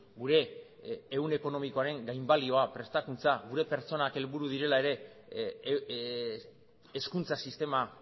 gure ehun ekonomikoaren gainbalioa prestakuntza gure pertsonak helburu direla ere hezkuntza sistema